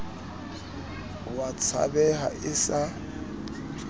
o a tshabeha e sa